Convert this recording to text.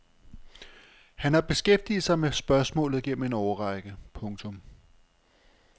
Han har beskæftiget sig med spørgsmålet gennem en årrække. punktum